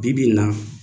Bi bi in na